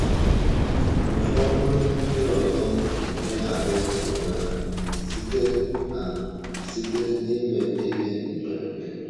Ụfọdụ ndị ọzọ na-emegharị onwe ha site ha site n’ime ihe mberede.